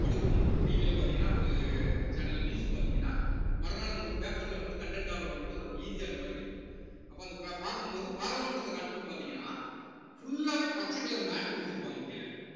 படுக்க போகும்போது ஒரு TV ல பார்த்தீங்கன்னா ஒரு channel news பார்த்தீங்கன்னா மறுநாள் உங்களுக்கு paper ல வந்து content ஆ வரும்போது நமக்கு easy ஆ இருக்கிற மாதிரி தெரியும் அப்ப அந்த பாக்கும் போது பாராளுமன்றத்த காட்டும் போது பார்த்தீங்கன்னா full லாவே பச்சை colour mat உ விரிச்சிருப்பாங்க கீழ